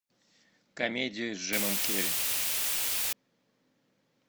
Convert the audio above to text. комедию с джимом керри